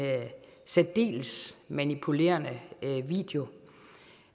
særdeles manipulerende video